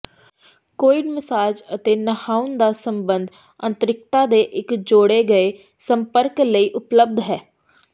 co-ed massage ਅਤੇ ਨਹਾਉਣ ਦਾ ਸੰਬੰਧ ਅੰਤਰਿਕਤਾ ਦੇ ਇੱਕ ਜੋੜੇ ਗਏ ਸੰਪਰਕ ਲਈ ਉਪਲਬਧ ਹੈ